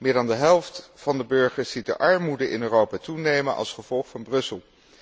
Meer dan de helft van de burgers ziet de armoede in Europa toenemen als gevolg van Brussel.